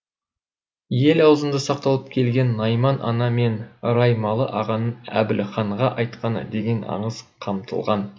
ел ауызында сақталып келген найман ана мен раймалы ағаның әбділханға айтқаны деген аңыз қамтылған